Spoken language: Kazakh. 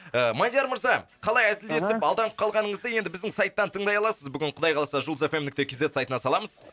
ы мадияр мырза қалай әзілдесіп аха алданып қалғаныңызды енді біздің сайттан тыңдай аласыз бүгін құдай қаласа жұлдыз эф эм нүкте кз сайтына саламыз